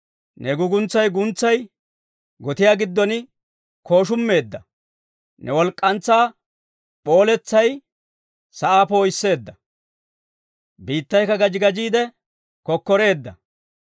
Ne guuguntsay guntsay gotiyaa giddon kooshummeedda; ne walk'k'antsaa p'ooletsay sa'aa poo'isseedda. Biittaykka gaji gajiide kokkoreedda.